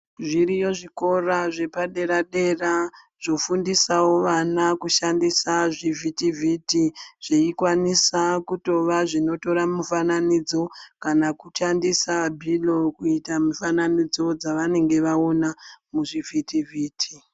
Zviriyo zvikora zvepadera-dera zvofundisawo vana kushandisa zvivhitivhiti ,zveikwanisa kutova zveitora mufananidzo ,kana kushandisa bhilo kuita mifananidzo dzevanenge vaona muzvivhitivhiti.